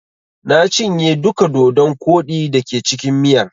Na cinye duka dodon koɗi da ke cikin miyar.